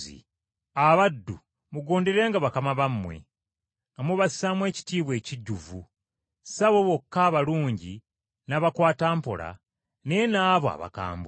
Abaddu, mugonderenga bakama bammwe, nga mubassaamu ekitiibwa ekijjuvu, si abo bokka abalungi n’abakwatampola naye n’abo abakambwe.